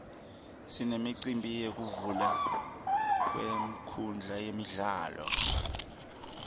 sinemicimbi yekuvulwa kwenkhundla yemidlalo